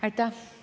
Aitäh!